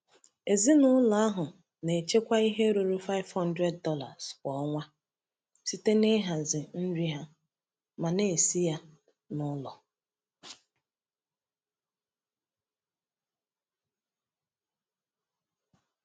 Ezinụlọ ahụ na-echekwa ihe ruru $500 kwa ọnwa site n’ịhazi nri ha ma na-esi ya n’ụlọ.